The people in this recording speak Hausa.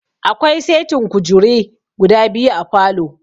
Akwai setin kujure guda biyu a falow